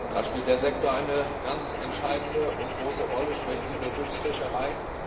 Da spielt der Sektor eine ganz entscheidende und große Rolle, sprich die Berufsfischerei.